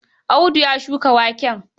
Audu ya shuka waken.